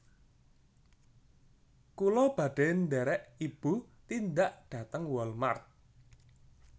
Kula badhe nderek ibu tindak dhateng Wal mart